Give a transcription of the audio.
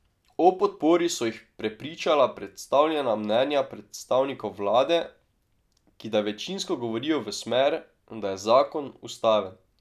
O podpori so jih prepričala predstavljena mnenja predstavnikov vlade, ki da večinsko govorijo v smer, da je zakon ustaven.